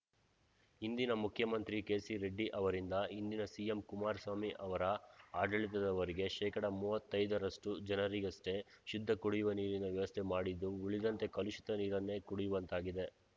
ಹಿಂದಿನ ಮುಖ್ಯಮಂತ್ರಿ ಕೆಸಿರೆಡ್ಡಿ ಅವರಿಂದ ಇಂದಿನ ಸಿಎಂ ಕುಮಾರಸ್ವಾಮಿ ಅವರ ಆಡಳಿತದವರೆಗೆ ಶೇಕಡಾ ಮೂವತ್ತೈದರಷ್ಟುಜನರಿಗಷ್ಟೇ ಶುದ್ಧ ಕುಡಿಯುವ ನೀರಿನ ವ್ಯವಸ್ಥೆ ಮಾಡಿದ್ದು ಉಳಿದಂತೆ ಕಲುಷಿತ ನೀರನ್ನೇ ಕುಡಿಯುವಂತಾಗಿದೆ